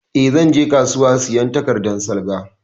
Eh, zan je kasuwa sayan takardan salga